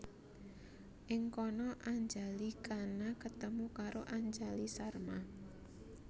Ing kana Anjali Khana ketemu karo Anjali Sharma